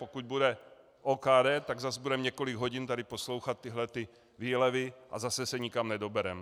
Pokud bude OKD, tak zas budeme několik hodin tady poslouchat tyhle výlevy a zase se nikam nedobereme.